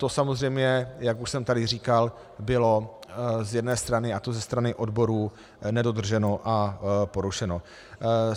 To samozřejmě, jak už jsem tady říkal, bylo z jedné strany, a to ze strany odborů, nedodrženo a porušeno.